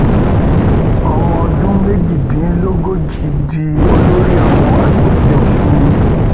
ọmọọdún méjìdínlógójì di olórí àwọn asòfin ọsùn